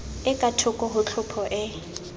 e kathoko ho tlhopho e